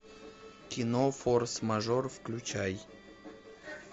кино форс мажор включай